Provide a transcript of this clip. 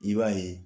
I b'a ye